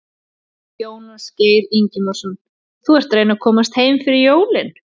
Jónas Margeir Ingimarsson: Þú ert að reyna að komast heim fyrir jólin?